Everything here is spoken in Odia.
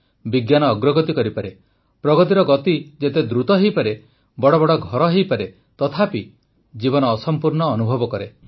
ବିଜ୍ଞାନ ଅଗ୍ରଗତି କରିପାରେ ପ୍ରଗତିର ଗତି ଯେତେ ଦ୍ରୁତ ହୋଇପାରେ ବଡ଼ ବଡ଼ ଘର ହୋଇପାରେ ତଥାପି ଜୀବନ ଅସମ୍ପୂର୍ଣ୍ଣ ଅନୁଭବ କରେ